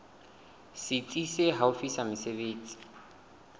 setsi se haufi sa mesebetsi